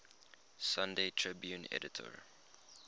sunday tribune editor